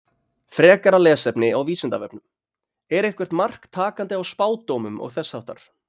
Frekara lesefni á Vísindavefnum Er eitthvert mark takandi á spádómum og þess háttar?